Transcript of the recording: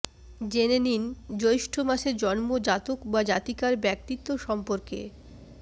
জেনে নিন জৈষ্ঠ্য মাসে জন্ম জাতক বা জাতিকার ব্যক্তিত্ব সম্পর্কে